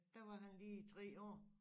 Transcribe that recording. Der var han lige 3 år